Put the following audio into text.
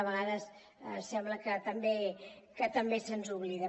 a vegades sembla que també se’ns oblida